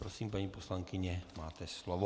Prosím, paní poslankyně, máte slovo.